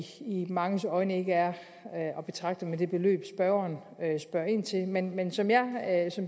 manges øjne ikke er at betragte som det beløb spørgeren spørger ind til men men som